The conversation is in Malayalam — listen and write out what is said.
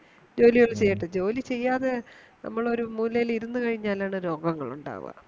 ജോലിയൊക്കെ ചെയ്യട്ടെ ജോലിചെയ്യാതെ നമ്മളൊരു മുലയിലിരുന്നുകഴിഞ്ഞാൽ ആണ് രോഗങ്ങളുണ്ടാവാ